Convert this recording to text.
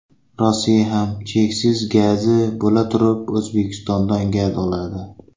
Rossiya ham cheksiz gazi bo‘laturib O‘zbekistondan gaz oladi.